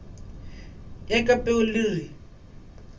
ya ka peu le re